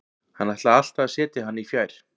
Hann ætlaði alltaf að setja hann í fjær.